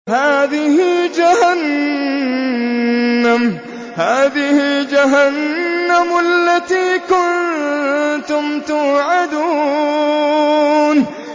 هَٰذِهِ جَهَنَّمُ الَّتِي كُنتُمْ تُوعَدُونَ